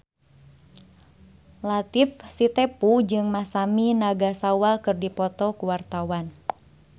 Latief Sitepu jeung Masami Nagasawa keur dipoto ku wartawan